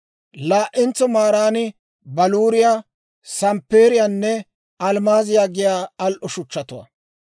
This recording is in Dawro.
Laa"entso maaran baluuriyaa, samppeeriyaanne almmaaziyaa giyaa al"o shuchchatuwaa;